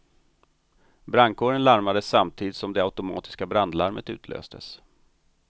Brandkåren larmades samtidigt som det automatiska brandlarmet utlöstes.